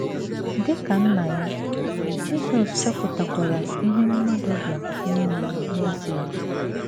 Dị ka Nna ya, Jisọs chọpụtakwara ihe mmadụ bụ n’ime n’ezie.